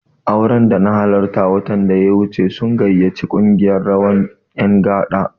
Auren da na halarta watan da ya wuce sun gayyaci ƙungiyar rawar ƴan gada.